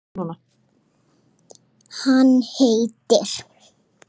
Hann heitir